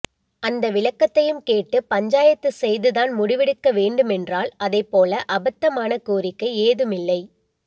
அந்த விளக்கத்தையும் கேட்டு பஞ்சாயத்துசெய்துதான் முடிவெடுக்கவேண்டும் என்றால் அதைப்போல அபத்தாமான கோரிக்கை ஏதுமில்லை